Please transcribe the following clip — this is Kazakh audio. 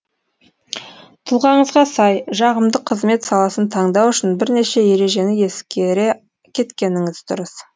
тұлғаңызға сай жағымды қызмет саласын таңдау үшін бірнеше ережені ескере кеткеніңіз дұрыс